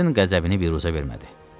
Kern qəzəbini büruzə vermədi.